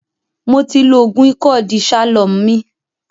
Mó ti lò oògùn ìkọ́ De-shalom mí